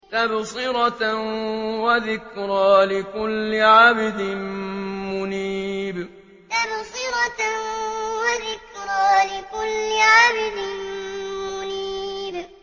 تَبْصِرَةً وَذِكْرَىٰ لِكُلِّ عَبْدٍ مُّنِيبٍ تَبْصِرَةً وَذِكْرَىٰ لِكُلِّ عَبْدٍ مُّنِيبٍ